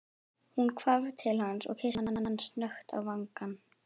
Hún hvarf til hans og kyssti hann snöggt á vangann.